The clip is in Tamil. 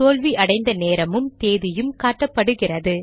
தோல்வி அடைந்த நேரமும் தேதியும் காட்டப்படுகிறது